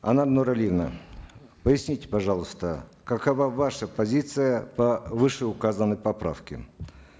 анар нуралиевна поясните пожалуйста какова ваша позиция по вышеуказанной поправке